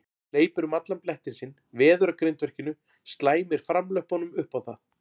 Hleypur um allan blettinn sinn, veður að grindverkinu, slæmir framlöppunum upp á það.